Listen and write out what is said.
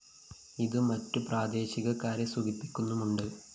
ഇതു മറ്റു പ്രാദേശികക്കാരെ സുഖിപ്പിക്കുന്നുമുണ്ട്